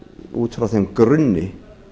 út frá þeim grunni